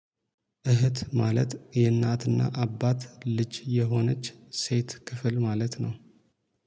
እህት ማለት የእናትና አባት ልጅ የሆነች ሴት ክፍል ማለት ነው